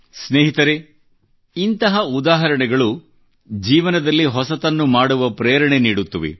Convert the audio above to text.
ಸ್ನೇಹಿತರೆ ಇಂಥ ಉದಾಹರಣೆಗಳು ಜೀವನದಲ್ಲಿ ಹೊಸತನ್ನು ಮಾಡುವ ಪ್ರೇರಣೆ ನೀಡುತ್ತವೆ